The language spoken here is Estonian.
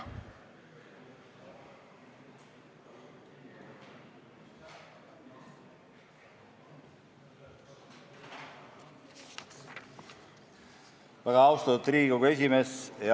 Väga austatud Riigikogu esimees!